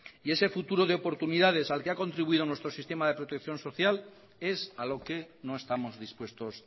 y ese futuro de oportunidades al que ha contribuido nuestro sistema de protección es a lo que no estamos dispuestos